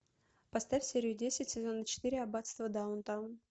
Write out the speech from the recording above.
поставь серию десять сезона четыре аббатство даунтон